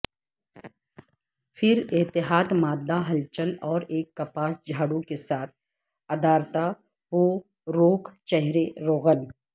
پھر احتیاط مادہ ہلچل اور ایک کپاس جھاڑو کے ساتھ ادارتاپوروک چہرے روغن